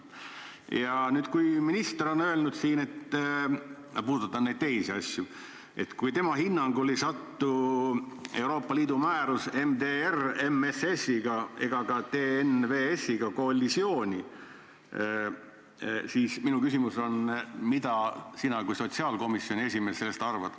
Ja nüüd, kui minister on öelnud, et – ma puudutan neid teisi asju – tema hinnangul ei satu Euroopa Liidu määrus MSS-i ega ka TNVS-iga kollisiooni, siis minu küsimus on, mida sina kui sotsiaalkomisjoni esimees sellest arvad.